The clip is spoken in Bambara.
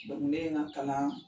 ne ye n ka kalan